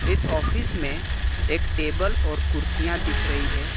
इस ऑफिस में एक टेबल और कुर्सियां दिख रही है।